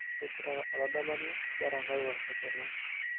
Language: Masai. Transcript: Keng'ira oladalani lerankau arerena